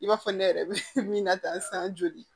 I b'a fɔ ne yɛrɛ bɛ min na ta san joli ye